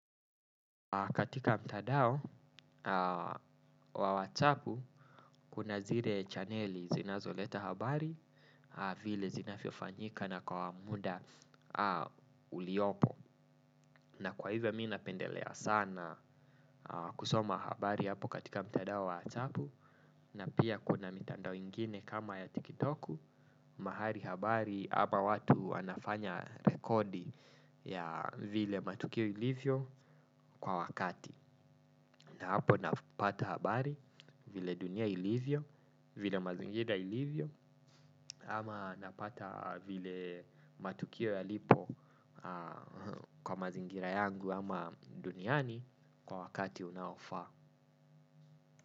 Katika mtandao wa watsapu kuna zile chaneli zinazoleta habari vile zinavyofanyika na kwa muda uliopo na kwa hivyo mimi napendelea sana kusoma habari pale kwa mtandao wa whatsapp na pia kuna mitandao ingine kama ya tiktok mahali habari ama watu wanafanya rekodi ya vile matukio ilivyo kwa wakati. Na hapo napata habari vile dunia ilivyo, vile mazingira ilivyo ama napata vile matukio yalipo kwa mazingira yangu ama duniani kwa wakati unaofaa.